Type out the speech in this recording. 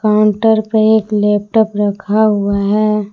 Counter पे एक laptop रखा हुआ है।